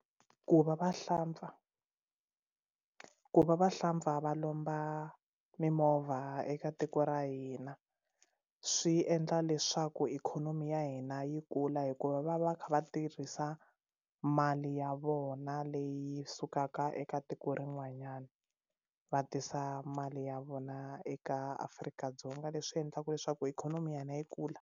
Ku va vahlampfa ku va vahlampfa va lomba mimovha eka tiko ra hina swi endla leswaku ikhonomi ya hina yi kula hikuva va va va kha va tirhisa mali ya vona leyi sukaka eka tiko rin'wanyana va tisa mali ya vona eka Afrika-Dzonga leswi endlaka leswaku ikhonomi ya hina yi kula.